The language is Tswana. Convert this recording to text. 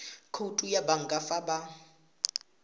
khoutu ya banka fa ba